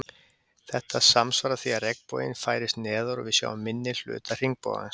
Þetta samsvarar því að regnboginn færist neðar og við sjáum minni hluta hringbogans.